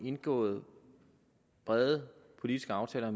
indgået brede politiske aftaler